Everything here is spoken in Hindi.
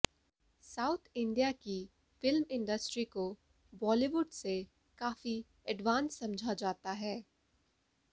साउथ इंडिया की फिल्म इंडस्ट्री को बॉलीवुड से कॉफी अडवांस समझा जाता है